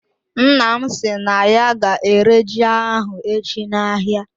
Nna m si na ya ga-ere ji ahụ echi na-ahịa.